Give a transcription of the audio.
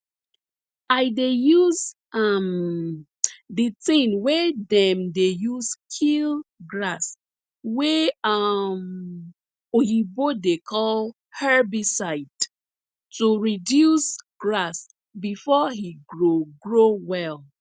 i dey use um di tin wey dem dey use kill grass wey um oyibo dey call herbicide to reduce grass before e grow grow well